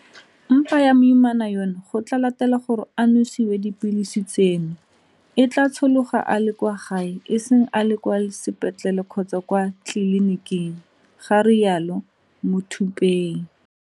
Mpa ya moimana yono go latela gore a nosiwe dipilisi tseno e tla tshologa a le kwa gae e seng a le kwa sepetlele kgotsa kwa tleliniking, ga rialo Muthuphei.